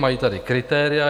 Mají tady kritéria.